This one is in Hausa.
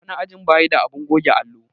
wani ajin bayi da abun goge allo.